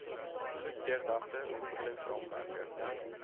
goed deurdagte ontwikkelingsraamwerke